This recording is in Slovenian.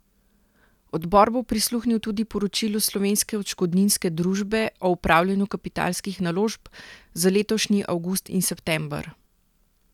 Odbor bo prisluhnil tudi poročilu Slovenske odškodninske družbe o upravljanju kapitalskih naložb za letošnji avgust in september.